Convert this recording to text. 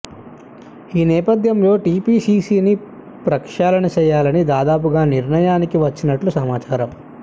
ఈ నేపథ్యంలో టీపీసీసీని ప్రక్షాళన చేయ్యాలని దాదాపుగా నిర్ణయానికి వచ్చినట్లుగా సమాచారం